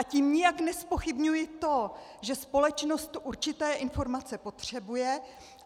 A tím nijak nezpochybňuji to, že společnost určité informace potřebuje.